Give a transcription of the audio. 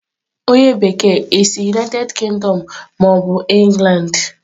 onye bekee, i si United Kingdom ma obu England?